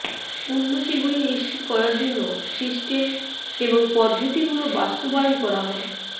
উন্নতিগুলি নিশ্চিত করার জন্য সিস্টেম এবং পদ্ধতিগুলি বাস্তবায়ন করা হয়